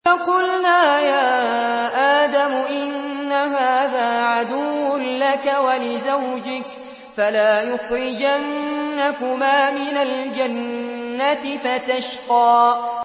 فَقُلْنَا يَا آدَمُ إِنَّ هَٰذَا عَدُوٌّ لَّكَ وَلِزَوْجِكَ فَلَا يُخْرِجَنَّكُمَا مِنَ الْجَنَّةِ فَتَشْقَىٰ